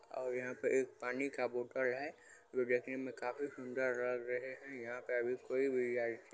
और यहाँ पे एक पानी का बोटल है जो देखने में काफी सुंदर लग रहे है यहाँ पे अभी कोई भी वी_आई ---